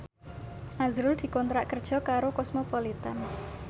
azrul dikontrak kerja karo Cosmopolitan